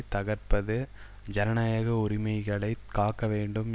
தகர்ப்பது ஜனநாயக உரிமைகளை காக்க வேண்டும்